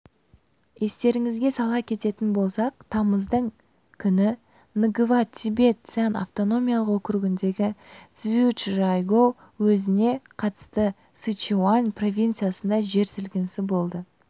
естеріңізге сала кететін болсақ тамыздың күні нгава-тибет-цян автономиялық округіндегі цзючжайгоу уезіне қарасты сычуань провинциясында жер сілкінісі болды